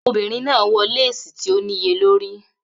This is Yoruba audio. Obinrin naa wọ lesi ti o niyelori